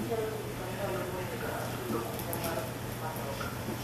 inyalo nyisa ndalo monego ochul okumba mar matoka